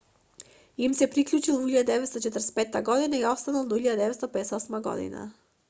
им се приклучил во 1945 година и останал до 1958 година